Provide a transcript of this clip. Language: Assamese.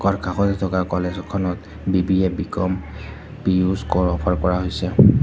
কাষতে থকা কলেজ এখনত বি_বি_এ বি_কম পি_উ ছ কৰ অফাৰ কৰা হৈছে।